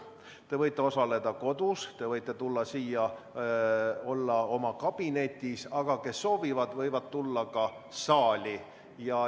Te võite osaleda kodus, te võite tulla siia majja, olla oma kabinetis, aga kes soovivad, võivad tulla ka saali.